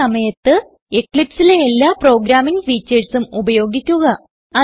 ഈ സമയത്ത് Eclipseലെ എല്ലാ പ്രോഗ്രാമിംഗ് ഫീച്ചർസ് ഉം ഉപയോഗിക്കുക